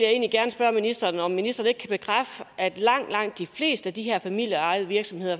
jeg ministeren om ministeren ikke kan bekræfte at langt langt de fleste af de her familieejede virksomheder